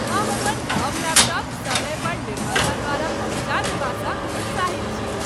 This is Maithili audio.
हम अपन नव लैपटॉप समय पर निर्माता द्वारा पहुँचा देबासँ उत्साहित छी।